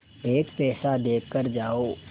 एक पैसा देकर जाओ